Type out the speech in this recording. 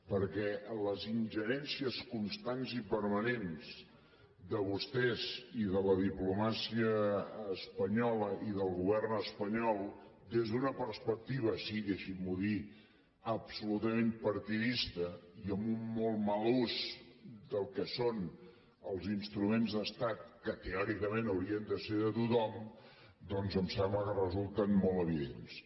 perquè les ingerències constants i permanents de vostès i de la diplomàcia espanyola i del govern espanyol des d’una perspectiva sí deixin m’ho dir absolutament partidista i amb un molt mal ús del que són els instruments d’estat que teòricament haurien de ser de tothom doncs em sembla que resulten molt evidents